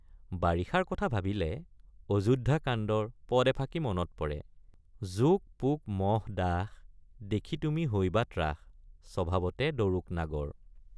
বাৰিষাৰ কথা ভাবিলে অযোধ্যা কাণ্ডৰ পদ এফাকি মনত পৰে— জোক পোক মশ ডাশ দেখি তুমি হৈবা ত্ৰাস স্বভাৱতে ডৰুক নাগৰ।